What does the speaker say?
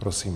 Prosím.